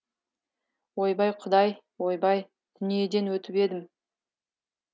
ойбай құдай ойбай дүниеден өтіп едім